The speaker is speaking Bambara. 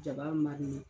Jaba ma